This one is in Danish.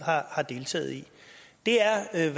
har deltaget i det er hvad